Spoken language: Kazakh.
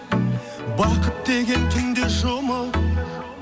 бақыт деген түнде жұмып